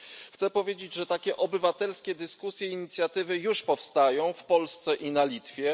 Chcę powiedzieć, że takie obywatelskie dyskusje, inicjatywy już powstają w Polsce i na Litwie.